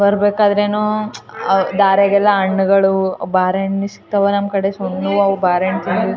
ವಿದ್ಯುತ್ ಕಂಬಗಳು ವಿದ್ಯುತ್ ತಾರಗಳು ಹಿಂದುಗಡೆ ದೊಡ್ಡ ಮರ ಎಲ್ಲ ಕಾಣಿಸುತ್ತಿದೆ .